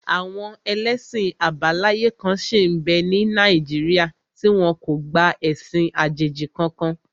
Àwọn ẹlẹ́sìn àbáláyé kan sí n bẹ́ ní Nàìjíríà tí wọ́n kọ̀ láti gba ẹ̀sìn àjèjì kankan